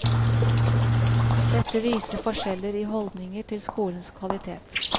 Dette viser forskjeller i holdninger til skolens kvalitet.